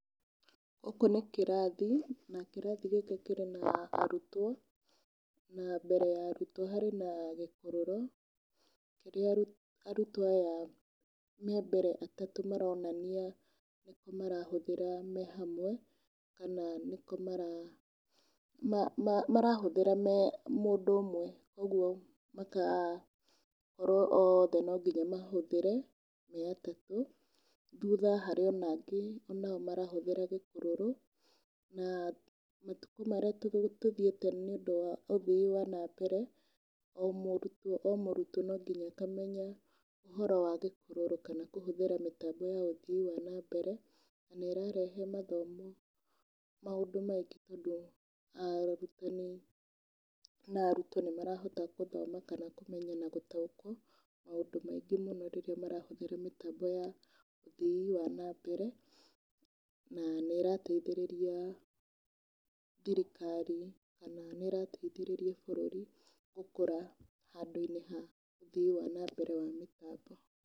Gũkũ nĩ kĩrathi, na kĩrathi gĩkĩ kĩrĩ na arutwo na mbere ya arutwo harĩ na gĩkũrũro kĩrĩa arutwo aya me mbere atatũ maronania marahũthĩra me hamwe na nĩkĩo marahũthĩra me mũndũ ũmwe. Ũguo magakorwo othe no nginya mahũthĩre marĩ atatũ, thutha harĩ ona angĩ nao marahũthĩra gĩkũrũro. Na matukũ marĩa tũthiĩte nĩ ũndũ wa ũthii wa na mbere o mũrutewo o mũrutwo no nginya akamenya ũhoro wa gĩkũrũro kana kũhũthĩra mĩtambo ya ũthii wa na mbere. Na ĩrarehe mathomo maũndũ maingĩ tondũ arutani na arutwo nĩ marahota gũthoma kana kũmenya na gũtaũkwo maũndũ maingĩ mũno rĩrĩa marahũthĩra mĩtambo ya ũthii wa na mbere. Na nĩ íĩrateithĩrĩria thirikari kana nĩ ĩrateithĩrĩria bũrũri gũkũra handũ-inĩ ha ũthii wa na mbere wa mĩtambo.